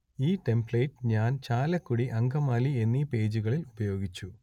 ഈ ടെമ്പ്ലേറ്റ് ഞാൻ ചാലക്കുടി അങ്കമാലി എന്നീ പേജുകളിൽ ഉപയോഗിച്ചു